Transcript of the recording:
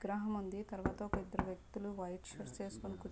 ఒక విగ్రహం ఉంది. తర్వాత ఒక ఇద్దరు వ్యక్తులైతే వైట్ షూస్ వేసుకొని--